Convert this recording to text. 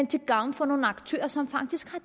til gavn for nogle aktører som faktisk